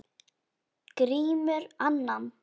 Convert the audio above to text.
Grímur annan.